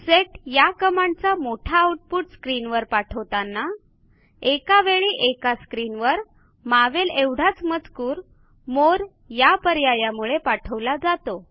set या कमांडचा मोठा आऊटपुट स्क्रीनवर पाठवताना एकावेळी एका स्क्रीनवर मावेल एवढाच मजकूर मोरे या पर्यायामुळे पाठवला जातो